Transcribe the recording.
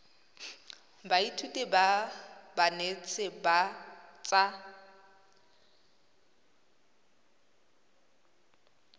baithuti ba banetshi ba tsa